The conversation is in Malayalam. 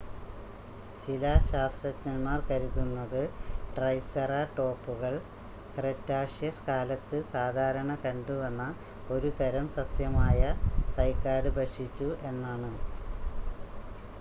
ചില ശാസ്ത്രജ്ഞന്മാർ കരുതുന്നത് ട്രൈസെറാടോപ്പുകൾ ക്രെറ്റാഷ്യസ് കാലത്ത് സാധാരണ കണ്ടുവന്ന ഒരു തരം സസ്യമായ സൈക്കാഡ് ഭക്ഷിച്ചു എന്നാണ്